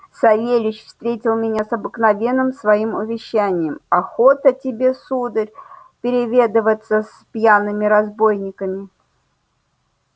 савельич встретил меня с обыкновенным своим увещанием охота тебе сударь переведываться с пьяными разбойниками